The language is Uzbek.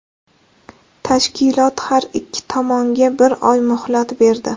Tashkilot har ikki tomonga bir oy muhlat berdi.